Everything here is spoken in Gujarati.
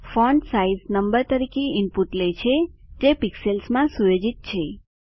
ફોન્ટસાઇઝ નંબર તરીકે ઇનપુટ લે છે જે પિક્સેલ્સ માં સુયોજિત છે